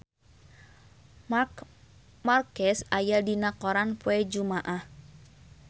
Marc Marquez aya dina koran poe Jumaah